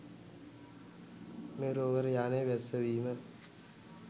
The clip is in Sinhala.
මේ රෝවර් යානය බැස්සවීම